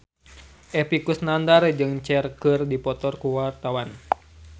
Epy Kusnandar jeung Cher keur dipoto ku wartawan